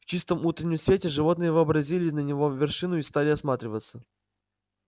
в чистом утреннем свете животные взобрались на его вершину и стали осматриваться